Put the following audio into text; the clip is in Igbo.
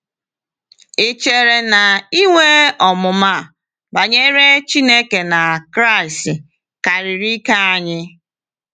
Ị̀ chere na inwe ọmụma banyere Chineke na Kraịst karịrị ike anyị?